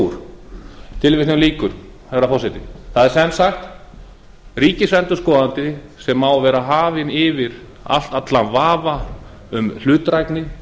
úr tilvitnun lýkur herra forseti það er sem sagt ríkisendurskoðandi sem á að vera hafinn yfir allan vafa um hlutdrægni